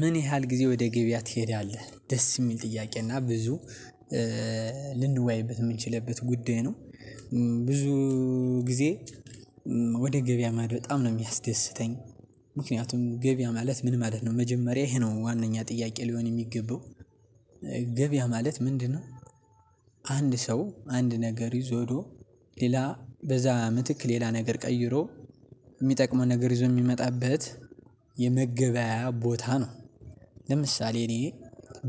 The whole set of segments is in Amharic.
ምን ያህል ጊዜ ወደ ገበያ ትሄዳለህ? ደስ የሚል ጥያቄ እና ብዙ የምንችልበት ጉዳይ ነው ብዙ ጊዜ ወደ ገበያ ማድ በጣም ነው የሚያስደስተኝ ምክንያቱም ገበያ ማለት ምን ማለት ነው መጀመሪያ ይሄ ነው ዋናኛ ጥያቄ ሊሆን የሚገባው ገበያ ማለት ምንድነው አንድ ሰው አንድ ነገር ይዞ ሄዶ ሌላ በዛ ምትክ ሌላ ነገር ቀይሮ የሚጠቅመውን ነገር ይዞ የሚመጣበት የመገበያያ ቦታ ነው ለምሳሌ እኔ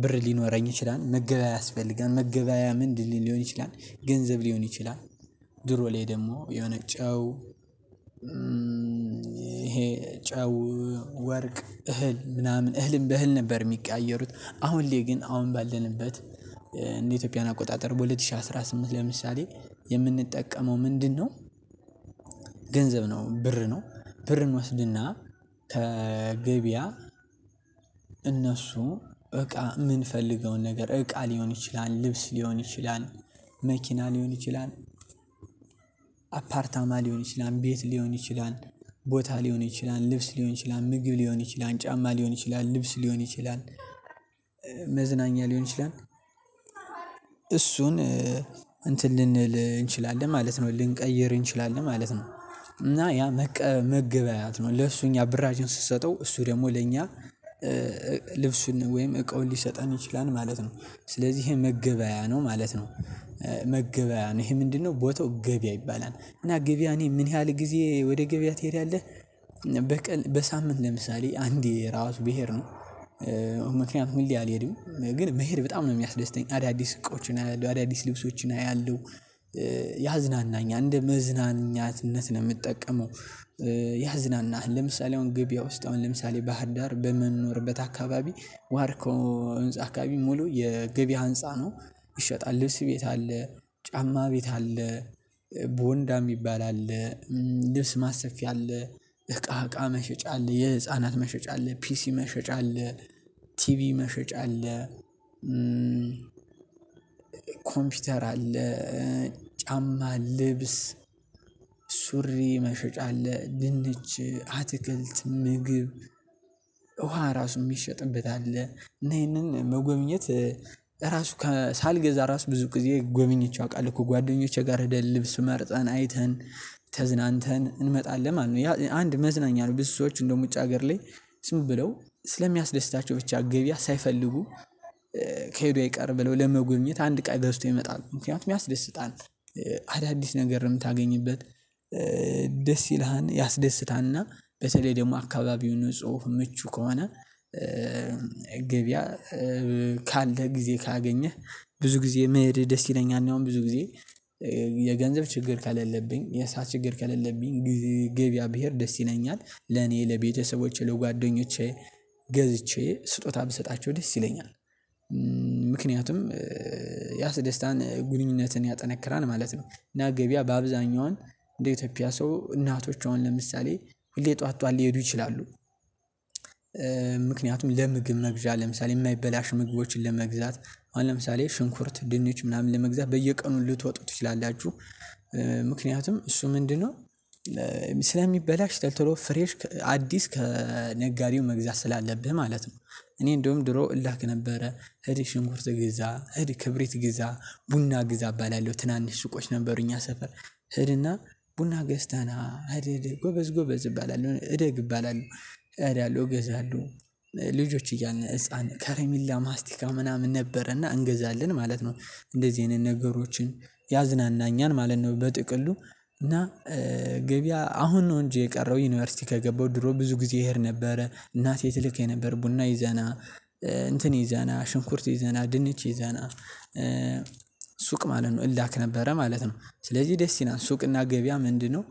ብር ሊኖረኝ ይችላል መገበያያ ያስፈልጋል መገበያያ ምንድን ሊሆን ይችላል ገንዘብ ሊሆን ይችላል ድሮ ላይ ደግሞ የሆነ ጨው ይሄ ጨው ወርቅ እህል ምናምን እህልም በእህል ነበር የሚቀያየሩት አሁን ላይ ግን አሁን ባለንበት እንደ ኢትዮጵያን አቆጣጠር በሁለት ሺህ አስራ ስምንት ለምሳሌ የምንጠቀመው ምንድነው ገንዘብ ነው ብር ነው ብርን እንወስድና ከገበያ እነሱ እቃ የምንፈልገውን ነገር እቃ ሊሆን ይችላል ልብስ ሊሆን ይችላል መኪና ሊሆን ይችላል አፓርታማ ሊሆን ይችላል ቤት ሊሆን ይችላል ቦታ ሊሆን ይችላል ልብስ ሊሆን ይችላል ምግብ ሊሆን ይችላል ጫማ ሊሆን ይችላል ልብስ ሊሆን ይችላል መዝናኛ ሊሆን ይችላል እሱን እንትን ልንል እንችላለን ማለት ነው ልንቀይር እንችላለን ማለት ነው እና ያ መቀ መገበያየት ነው ለሱ እኛ ብራችንን ስንሰጠው እሱ ደግሞ ለኛ ልብሱን ወይም እቃውን ሊሰጠን ይችላል ማለት ነው ስለዚህ ይሄ መገበያያ ነው ማለት ነው መገበያያ ነው ይሄ ምንድነው ቦታው ገበያ ይባላል እና ገበያ እኔ ምን ያህል ጊዜ ወደ ገበያ ትሄዳለህ? በሳምንት ለምሳሌ አንዴ ራሱ ብሄድ ነው ምክንያቱም ሁሌ አልሄድም ግን መሄድ በጣም ነው የሚያስደስተኝ አዳዲስ እቃዎችን አያለሁ አዳዲስ ልብሶችን አያለሁ ያዝናናኛል እንደ መዝናኛትነት ነው የምጠቀመው ያዝናናሃል ለምሳሌ አሁን ገበያ ውስጥ አሁን ለምሳሌ ባህር ዳር በምንኖርበት አካባቢ ዋርካው ህንፃ አካባቢ ሙሉ የገበያ ህንፃ ነው ይሸጣል ልብስ ቤት አለ ጫማ ቤት አለ ቦንዳ የሚባል አለ ልብስ ማሰፊያ አለ እቃ እቃ መሸጫ አለ የህፃናት መሸጫ አለ ፒሲ መሸጫ አለ ቲቪ መሸጫ አለ ኮምፒውተር አለ ጫማ ልብስ ሱሪ መሸጫ አለ ድንች አትክልት ምግብ ራሱ የሚሸጥበት አለ እና ይሄንን መጎብኘት ራሱ ሳልገዛ ራሱ ብዙ ጊዜ ጎብኝቼ አውቃለሁ ከጓደኞቼ ጋር ሄደን ልብስ መርጠን አይተን ተዝናንተን እንመጣለን ማለት ነው ያ አንድ መዝናኛ ነው ብዙ ሰዎች እንደውም ውጭ ሀገር ላይ ዝም ብለው ስለሚያስደስታቸው ብቻ ገበያ ሳይፈልጉ ከሄዱ አይቀር ብለው ለመጎብኘት አንድ እቃ ገዝተው ይመጣሉ ምክንያቱም ያስደስታል አዳዲስ ነገር ነው የምታገኝበት ደስ ይልሃል ያስደስታልና በተለይ ደግሞ አካባቢውን ንጹህ ምቹ ከሆነ ገበያ ካለህ ጊዜ ካገኘህ ብዙ ጊዜ መሄድ ደስ ይለኛል እኔ አሁን ብዙ ጊዜ የገንዘብ ችግር ከሌለብኝ የሰዓት ችግር ከሌለብኝ ገበያ ብሄድ ደስ ይለኛል ለኔ ለቤተሰቦቼ ለጓደኞቼ ገዝቼ ስጦታ ብሰጣቸው ደስ ይለኛል ምክንያቱም ያስደስታን ግንኙነትን ያጠነክራል ማለት ነው እና ገበያ በአብዛኛውን እንደ ኢትዮጵያ ሰው እናቶች አሁን ለምሳሌ ሁሌ ጧት ጧት ሊሄዱ ይችላሉ ለምግብ መግዣ ለምሳሌ የማይበላሹ ምግቦችን ለመግዛት ለምሳሌ ሽንኩርት ድንች ምናምን ለመግዛት በየቀኑ ልትወጡ ትችላላችሁ ምክንያቱም እሱ ምንድነው ስለሚበላሽ ቶልቶሎ ፍሬሽ አዲስ ከነጋዴው መግዛት ስላለብህ ማለት ነው እኔ እንደውም ድሮ እላክ ነበረ ሂድ ሽንኩርት ግዛ ሂድ ክብሪት ግዛ ቡና ግዛ እባላለሁ ትናንሽ ሱቆች ነበሩ እኛ ሰፈር ሂድና ቡና ገዝተህ ና ሂድ ሂድ ጎበዝ ጎበዝ እባላለሁ እደግ እባላለሁ እገዛለሁ ልጆች እያለን ህፃን ከረሚላ ማስቲካ ምናምን ነበረና እንገዛለን ማለት ነው እንደዚህ አይነት ነገሮችን ያዝናናኛል ማለት ነው በጥቅሉ እና ገበያ አሁን ነው እንጂ የቀረው ዩኒቨርሲቲ ከገባው ድሮ ብዙ ጊዜ እሄድ ነበረ እናቴ ትልከኝ ነበረ ቡና ይዘህ ና እንትን ይዘህ ና ሽንኩርት ይዘህ ና ድንች ይዘህ ና ሱቅ ማለት ነው እላክ ነበረ ማለት ነው ስለዚህ ደስ ይላል ሱቅና ገበያ ምንድነው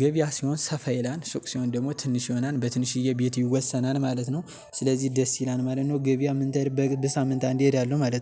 ገበያ ሲሆን ሰፋ ይላል ሱቅ ሲሆን ደግሞ ትንሽ ይሆናል በትንሽዬ ቤት ይወሰናል ማለት ነው ስለዚህ ደስ ይላል ማለት ነው ገበያ ምን በቅድ ሳምንት አንድ እሄዳለሁ ማለት ነው